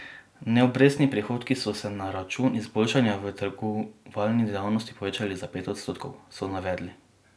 Neobrestni prihodki so se na račun izboljšanja v trgovalni dejavnosti povečali za pet odstotkov, so navedli.